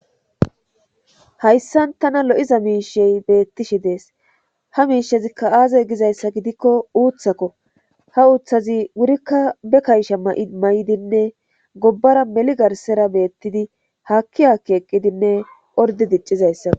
hayssan tana lo7iza miishey beettishi dees ha miishezikka aazey gizayssa gidikko uuththakko ha uuththazi wurikka be kaysha may7dinne gobbara meli garsera beettidi haakki haakki eqqidinne ordi diccizayssao